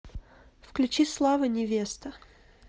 включи слава невеста